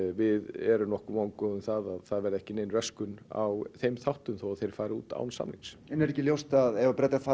við erum nokkuð vongóð um að það verði ekki nein röskun á þeim þáttum þó þeir fari út án samnings en er ekki ljóst að ef Bretar fara